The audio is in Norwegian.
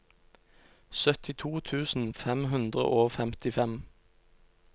syttito tusen fem hundre og femtifem